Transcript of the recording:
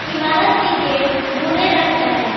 इमारत की गेट भूरे रंग का है।